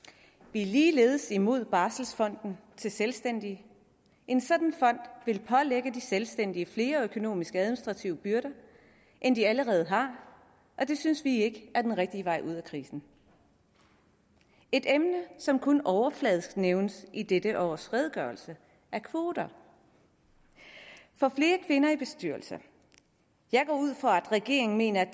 vi er ligeledes imod barselsfonden til selvstændige en sådan fond vil pålægge de selvstændige flere økonomisk administrative byrder end de allerede har og det synes vi ikke er den rigtige vej ud af krisen et emne som kun overfladisk nævnes i dette års redegørelse er kvoter for flere kvinder i bestyrelser jeg går ud fra at regeringen mener at